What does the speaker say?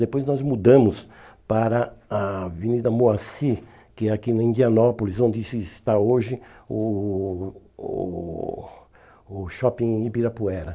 Depois nós mudamos para a Avenida Moacir, que é aqui na Indianópolis, onde se está hoje o o o Shopping Ibirapuera.